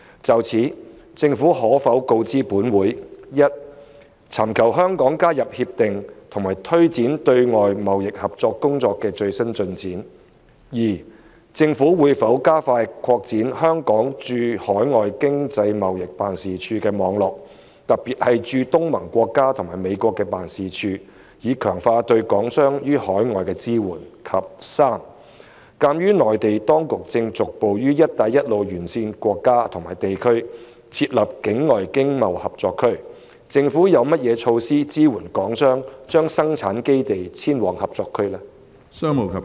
就此，政府可否告知本會：一尋求香港加入《協定》及推展對外經貿合作工作的最新進展；二政府會否加快擴展香港駐海外經濟貿易辦事處的網絡，特別是駐東盟國家和美國的辦事處，以強化對港商於海外的支援；及三鑒於內地當局正逐步於"一帶一路"沿線國家/地區設立境外經貿合作區，政府有何措施支援港商把生產基地遷往合作區？